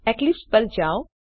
Eclipse પર જાઓ